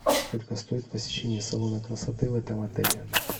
сколько стоит посещение салона красоты в этом отеле